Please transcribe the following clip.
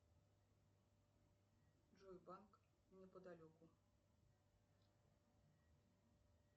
джой банк неподалеку